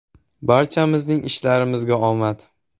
Barchamizning ishlarimizga omad!